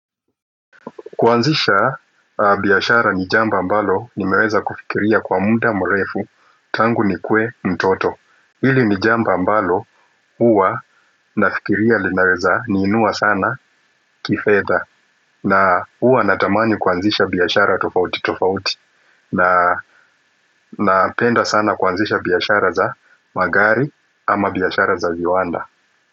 Kwanzisha biashara ni jambo ambalo nimeweza kufikiria kwa muda mrefu tangu nikuwe mtoto Hili nijambo ambalo huwa nafikiria linaweza ni inua sana kifedha na huwa natamani kwanzisha biashara tofauti tofauti. Na napenda sana kwanzisha biashara za magari, ama biashara za viwanda.